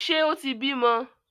Ṣe o tí bímọ?